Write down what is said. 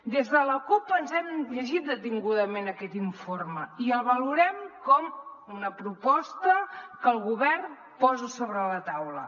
des de la cup ens hem llegit detingudament aquest informe i el valorem com una proposta que el govern posa sobre la taula